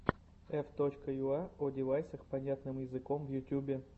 ф точка юа одевайсах понятным языком в ютубе